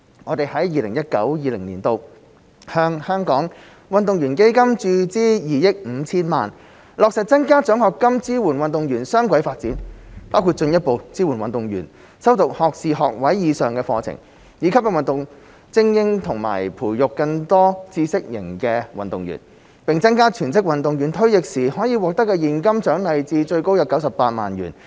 我們在 2019-2020 年度向香港運動員基金注資2億 5,000 萬元，落實增加獎學金支援運動員雙軌發展，包括進一步支援運動員修讀學士學位以上的課程，以吸引運動精英和培育更多知識型運動員，並增加全職運動員退役時可獲得的現金獎勵至最高約98萬元。